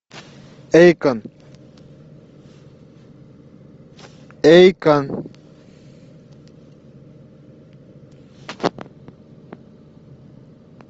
эйкон эйкон